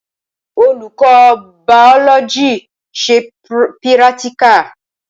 Olùkọ́ bàọlọjì ṣe pírátíkà